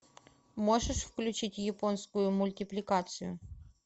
можешь включить японскую мультипликацию